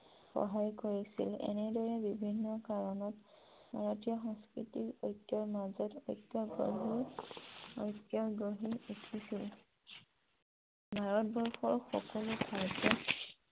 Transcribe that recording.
সহায় কৰিছিল । এনেদৰে বিভিন্ন কাৰণত ভাৰতীয় সংস্কৃতিত অনৈক্য়ৰ মাজত ঐক্য় গঢ়ি উঠিছিল । ভাৰবৰ্ষৰ সকলো ঠাইতে